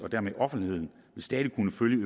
stilles